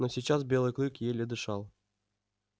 но сейчас белый клык еле дышал